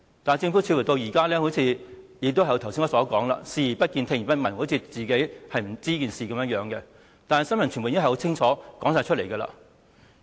政府至今似乎仍然是像我剛才所說般，視而不見、聽而不聞，好像不知道有這些事情一樣，但新聞傳媒已經很清楚地報道了。